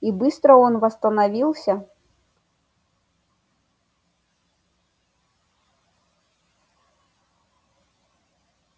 и быстро он восстановился